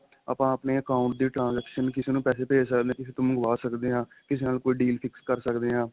ਆਪਾਂ ਆਪਣੇ account ਦੇ transection ਕਿਸੇ ਨੂੰ ਪੈਸੇ ਭੇਜ ਸਕਦੇ ਆ ਕਿਸੇ ਤੋਂ ਮੰਗਵਾ ਸਕਦੇ ਆ ਕਿਸੇ ਨਾਲ ਕੋਈ deal fix ਕਰ ਸਕਦੇ ਆ